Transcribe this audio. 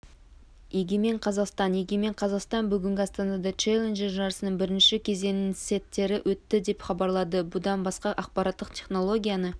егемен қазақстан егемен қазақстан бүгін астанада челленджер жарысының бірінші кезеңініңсеттеріөтті деп хабарлады бұдан басқа ақпараттық технологияны